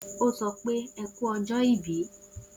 O sopé eku ọjọ ìbí